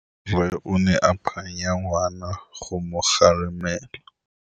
Rre o ne a phanya ngwana go mo galemela.